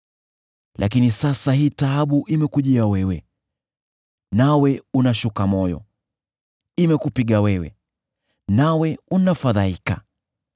Lakini sasa hii taabu imekujia wewe, nawe unashuka moyo; imekupiga wewe, nawe unafadhaika.